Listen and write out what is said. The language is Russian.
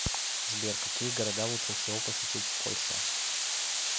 сбер какие города лучше всего посетить в польше